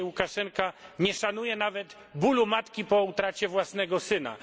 Dzisiaj Łukaszenka nie szanuje nawet bólu matki po utracie własnego syna.